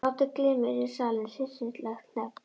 Hlátur glymur yfir salinn, hryssingslegt hnegg.